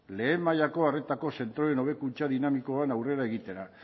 lehen mailako arretako zentroen hobekuntza dinamikoan aurrera egitera